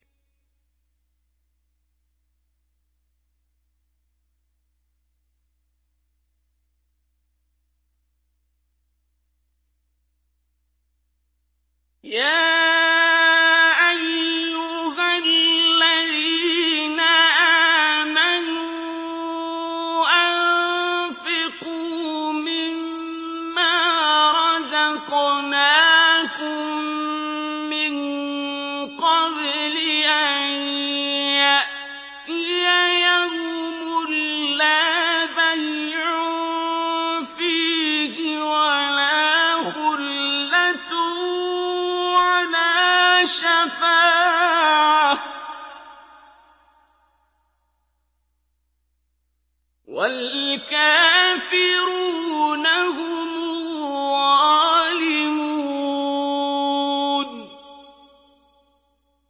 يَا أَيُّهَا الَّذِينَ آمَنُوا أَنفِقُوا مِمَّا رَزَقْنَاكُم مِّن قَبْلِ أَن يَأْتِيَ يَوْمٌ لَّا بَيْعٌ فِيهِ وَلَا خُلَّةٌ وَلَا شَفَاعَةٌ ۗ وَالْكَافِرُونَ هُمُ الظَّالِمُونَ